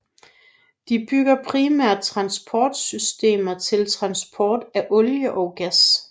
De bygger primært transportsystemer til transport af olie og gas